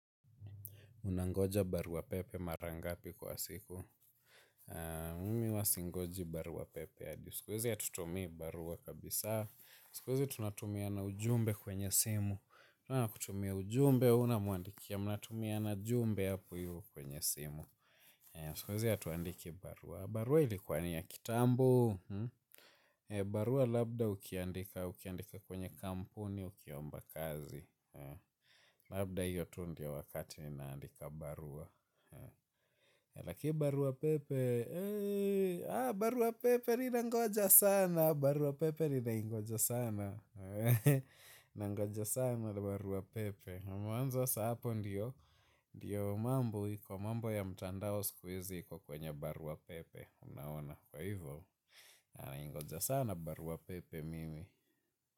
Unangoja barua pepe mara ngapi kwa siku. Mimi huwa singoji barua pepe hadi. Siku hizi hatutumii barua kabisa. Siku hizi tunatumiana ujumbe kwenye simu. Mtu anakutumia ujumbe, unamwandikia. Mnatumiana ujumbe hapo hivo kwenye simu. Siku hizi hatuandiki barua. Barua ilikuwa ni ya kitambo. Barua labda ukiandika kwenye kampuni ukiomba kazi. Labda hiyo tu ndio wakati naandika barua. Laki Barua Pepe Barua Pepe linangoja sana. Barua pepe linaingoja sana. Nangoja sana la Barua Pepe Mwanzo sasa hapo ndio ndio mambo. Iko mambo ya mtandao siku hizi iko kwenye Barua Pepe. Unaona kwa hivyo. Nanangoja sana Barua Pepe mimi.